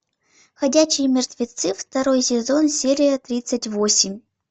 ходячие мертвецы второй сезон серия тридцать восемь